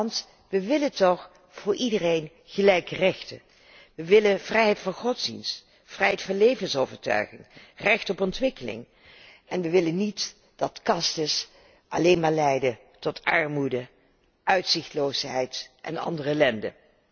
Immers, we willen toch voor iedereen gelijke rechten. We willen vrijheid van godsdienst, vrijheid van levensovertuiging, recht op ontwikkeling en we willen geen kasten die alleen maar leiden tot armoede, uitzichtloosheid en andere ellende.